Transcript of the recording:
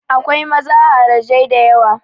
Akwai maza harajai da yawa.